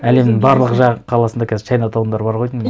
әлемнің барлық қаласында қазір чайнатаундар бар ғой деймін